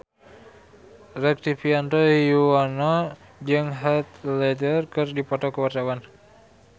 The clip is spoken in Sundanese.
Rektivianto Yoewono jeung Heath Ledger keur dipoto ku wartawan